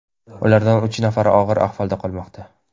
Ulardan uch nafari og‘ir ahvolda qolmoqda.